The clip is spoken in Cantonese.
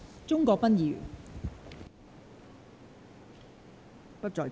鍾國斌議員不在席。